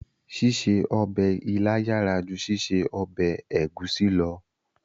Ṣíṣe ọbẹ̀ ilá yàrá ju ṣíṣe ọbẹ̀ ẹ̀gúsí lọ